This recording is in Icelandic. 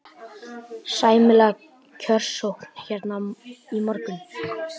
Sæmileg kjörsókn hérna í morgun?